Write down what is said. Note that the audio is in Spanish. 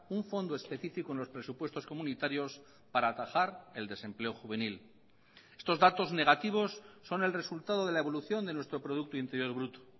un fondo específico en los presupuestos comunitarios para atajar el desempleo juvenil estos datos negativos son el resultado de la evolución de nuestro producto interior bruto